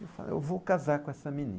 Eu falei, eu vou casar com essa menina.